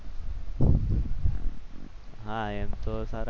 હા એમ તો સારા